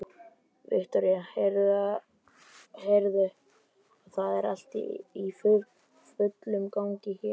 Viktoría: Heyrðu, og það er allt í fullum gangi hérna?